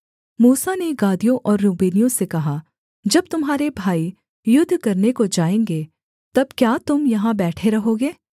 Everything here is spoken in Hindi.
मूसा ने गादियों और रूबेनियों से कहा जब तुम्हारे भाई युद्ध करने को जाएँगे तब क्या तुम यहाँ बैठे रहोगे